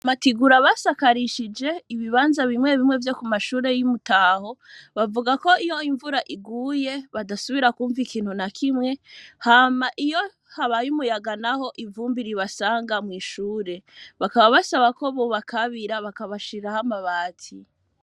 Amatigura basakarishije ibibanza bimwe bimwe vyo ku mashure y'i Muraho, bavuga ko iyo imvura iguye badasubira kumva ikintu na kimwe, hama iyo habaye umuyaga naho ivumbi ribasanga mw'ishure. Bakaba basaba ko bobakabira bakabashiriraho amabati.